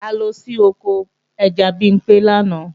A lọ sí oko ẹja Bimpé lánàá